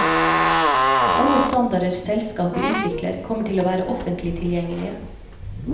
Alle standarder selskapet utvikler, kommer til å være offentlig tilgjengelige.